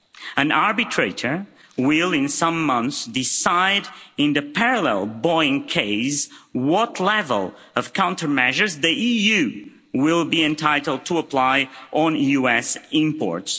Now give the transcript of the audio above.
An arbitrator will in some months decide, in the parallel Boeing case, what level of countermeasures the EU will be entitled to apply on US imports.